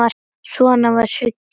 Svona var Siggi.